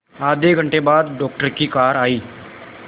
आधे घंटे बाद डॉक्टर की कार आई